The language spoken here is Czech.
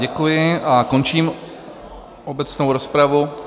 Děkuji a končím obecnou rozpravu.